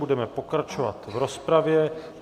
Budeme pokračovat v rozpravě.